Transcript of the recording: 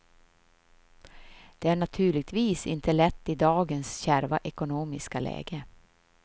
Det är naturligtvis inte lätt i dagens kärva ekonomiska läge.